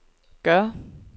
gør